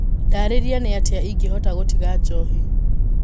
Ndarĩria nĩatĩa ingĩhota gũtiga njohi.